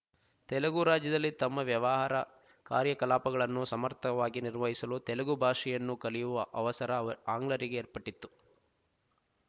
ತೆಲುಗು ರಾಜ್ಯದಲ್ಲಿ ತಮ್ಮ ವ್ಯವಹಾರ ಕಾರ್ಯಕಲಾಪಗಳನ್ನು ಸಮರ್ಥವಾಗಿ ನಿರ್ವಹಿಸಲು ತೆಲುಗು ಭಾಷೆಯನ್ನು ಕಲಿಯುವ ಅವಸರ ವ ಆಂಗ್ಲರಿಗೆ ಏರ್ಪಟ್ಟಿತ್ತು